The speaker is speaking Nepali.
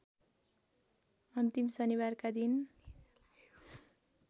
अन्तिम शनिबारका दिन